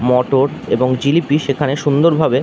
মটর এবং জিলিপি সেখানে সুন্দরভাবে --